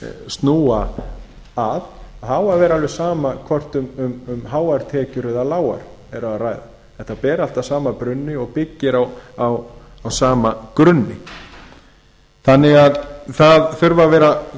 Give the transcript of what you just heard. snúa að það á að vera alveg sama hvort um háar tekjur eða lágar er að ræðaþetta ber allt að sama brunni og byggir á sama grunni það þurfa því að vera